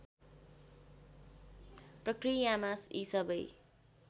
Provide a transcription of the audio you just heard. प्रक्रियामा यी सबै